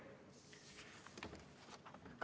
Aitäh!